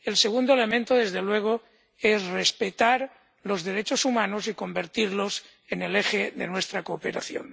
El segundo elemento, desde luego, es respetar los derechos humanos y convertirlos en el eje de nuestra cooperación.